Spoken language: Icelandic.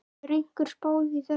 Hefur einhver spáð í þetta?